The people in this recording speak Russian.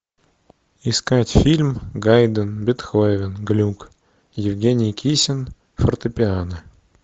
искать фильм гайдн бетховен глюк евгений кисин фортепиано